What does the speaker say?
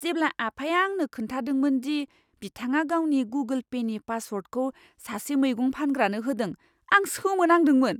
जेब्ला आफाया आंनो खोन्थादोंमोन दि बिथाङा गावनि गुगोल पेनि पासवार्दखौ सासे मैगं फानग्रानो होदों, आं सोमोनांदोंमोन।